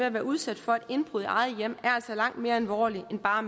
at være udsat for indbrud eget hjem er langt mere alvorlige end bare